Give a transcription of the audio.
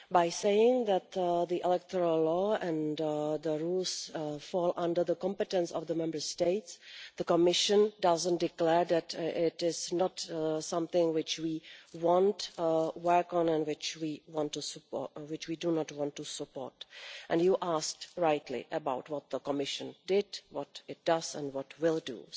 In saying that the electoral law and the rules fall under the competence of the Member States, the Commission is not declaring that this is not something which we want to work on and which we do not want to support. You asked, rightly, about what the Commission did, what it does and what it will do.